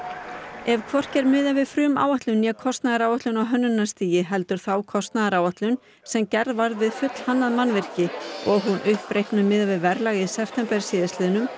ef hvorki er miðað við frumáætlun né kostnaðaráætlun á hönnunarstigi heldur þá kostnaðaráætlun sem gerð var við fullhannað mannvirki og hún uppreiknuð miðað við verðlag í september síðastliðnum